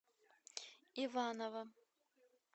иваново